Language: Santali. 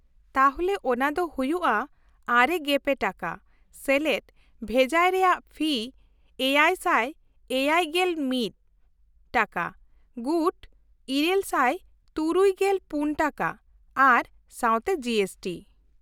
-ᱛᱟᱦᱞᱮ ᱚᱱᱟ ᱫᱚ ᱦᱩᱭᱩᱜᱼᱟ ᱙᱓ ᱴᱟᱠᱟ + ᱵᱷᱮᱡᱟᱭ ᱨᱮᱭᱟᱜ ᱯᱷᱤ ᱗᱗᱑ ᱴᱟᱠᱟ, ᱜᱩᱴ ᱘᱖᱔ ᱴᱟᱠᱟ ᱟᱨ ᱥᱟᱶᱛᱮ ᱡᱤ ᱮᱥ ᱴᱤ ᱾